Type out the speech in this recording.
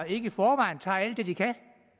ikke i forvejen tager alt det de kan